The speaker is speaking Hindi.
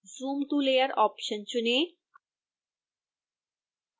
zoom to layer ऑप्शन चुनें